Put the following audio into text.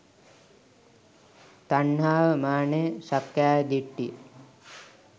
තණ්හාව, මානය, සක්කායදිට්ඨිය